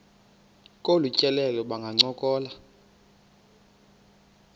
kolu tyelelo bangancokola